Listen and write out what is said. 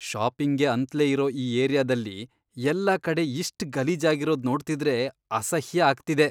ಶಾಪಿಂಗ್ಗೆ ಅಂತ್ಲೇ ಇರೋ ಈ ಏರಿಯಾದಲ್ಲಿ ಎಲ್ಲ ಕಡೆ ಇಷ್ಟ್ ಗಲೀಜಾಗಿರೋದ್ ನೋಡ್ತಿದ್ರೆ ಅಸಹ್ಯ ಆಗ್ತಿದೆ.